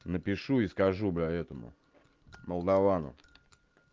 напишу и скажу бля этому молдовану